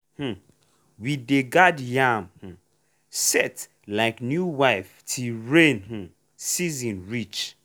um we dey guard yam um sett like new wife till rain um season reach.